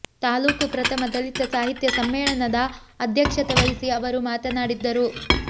ತಾಲ್ಲೂಕು ಪ್ರಥಮ ದಲಿತ ಸಾಹಿತ್ಯ ಸಮ್ಮೇಳನದ ಅಧ್ಯಕ್ಷತೆ ವಹಿಸಿ ಅವರು ಮಾತನಾಡಿದರು